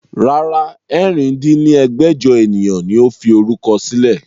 Rárá, ẹ̀rin dín ní ẹgbẹ́jọ ènìyàn ni ó fi orúkọ sílẹ̀